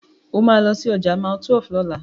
O máa lọ sí ọjà Mile12 lọ́la.